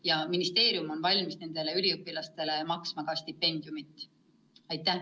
Ja ministeerium on valmis nendele üliõpilastele ka stipendiumit maksma.